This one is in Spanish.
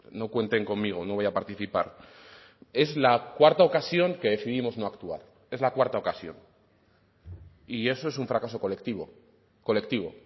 no cuenten conmigo no voy a participar es la cuarta ocasión que decidimos no actuar es la cuarta ocasión y eso es un fracaso colectivo colectivo